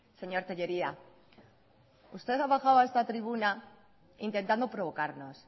señor tellería usted ha bajado a esta tribuna intentando provocarnos